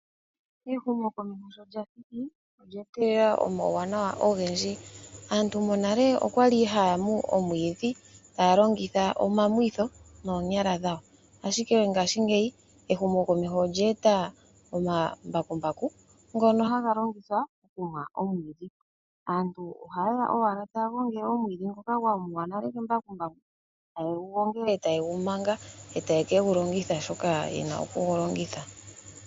Ehumokomeho sho lya thiki, olyee telela omawuwanawa ogendji, molwaashoka aantu monale okwali haamu omwiidhi taya longitha omamwitho ashike ehumokomeho sho lyeya, aantu ohaa longitha owala omambakumbaku, aantu ohayeya owala taya gongele omwiidhi ngoka gwamuwa nale kembakumbaku etaye gumanga etaye kegu longitha shoka yena okugulongitha.